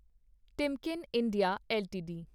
Timken India LTD